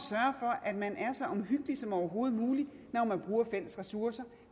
at man er så omhyggelig som overhovedet muligt når man bruger fælles ressourcer